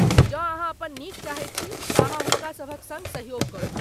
जँ अहाँ अपन नीक चाहैत छी तँ हुनका सभक सङ्ग सहयोग करू।